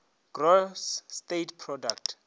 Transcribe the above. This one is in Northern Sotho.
gross state product